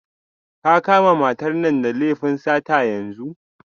Ka kama matar nan da laifin sata yanzu